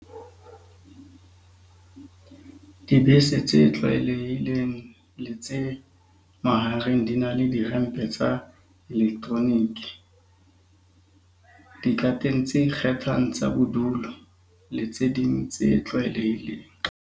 Dibese tse tlwaelehileng le tse mahareng di na le dirempe tsa elektroniki, dikateng tse ikgethang tsa bodulo le tse ding tse tlwaelehileng.